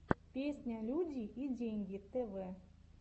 песня люди и деньги тэвэ